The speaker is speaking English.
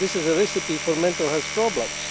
This is a recipe for mental health problems.